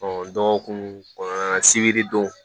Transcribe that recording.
dɔgɔkun kɔnɔna sibiri don